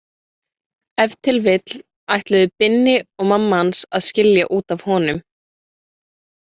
Ef til vill ætluðu Binni og mamma hans að skilja út af honum.